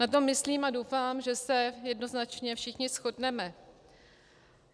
Na to myslím a doufám, že se jednoznačně všichni shodneme.